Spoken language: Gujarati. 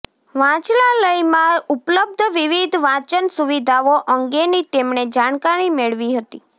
વાંચનાલયમાં ઉપલબ્ધ વિવિધ વાંચન સુવિધાઓ અંગેની તેમણે જાણકારી મેળવી હતી